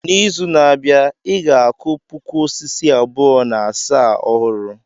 N'izu na-abịa, I ga-akụ puku osisi abụọ na asaa ọhụrụ.